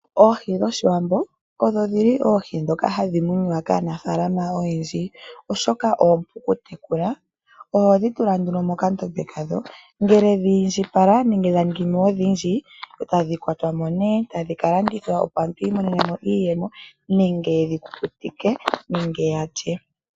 Oohi dhoshiwambo odho dhili oohi dhoka hadhi munwa kaanafaalama oyendji oshoka oompu okutekula, ohodhi tula nduno mokandombe kadho ngele dhi indjipala nenge dha ningimo odhindji ohodhi kwata mo nduno etadhi ka landithwa po opo omuntu iimonenemo iiyemo nenge dhi kukutikwe nenge aantu yalye.